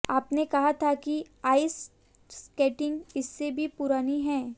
आपने कहा था कि आइस स्केटिंग इससे भी पुरानी है